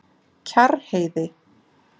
Kjarrheiði